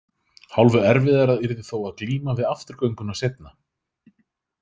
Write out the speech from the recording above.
Hálfu erfiðara yrði þó að glíma við afturgönguna seinna.